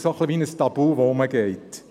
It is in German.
Deshalb ist es fast ein Tabu.